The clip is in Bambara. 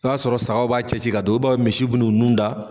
I b'a sɔrɔ saga b'a cɛ si ka dɔw, i ba misiw bunun nun da.